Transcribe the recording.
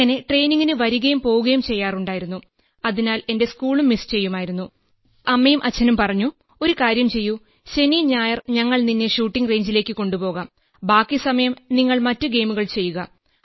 അങ്ങനെ ട്രെയിനിങ്ങിന് വരുകയും പോകുകയും ചെയ്യാറുണ്ടായിരുന്നു അതിനാൽ എന്റെ സ്കൂളും മിസ് ചെയ്യുമായിരുന്നു അപ്പോൾ അമ്മയും അച്ഛനും പറഞ്ഞു ഒരു കാര്യം ചെയ്യൂ ശനി ഞായർ ഞങ്ങൾ നിന്നെ ഷൂട്ടിംഗ് റേഞ്ചിലേക്ക് കൊണ്ടുപോകാം ബാക്കി സമയം നിങ്ങൾ മറ്റ് ഗെയിമുകൾ ചെയ്യുക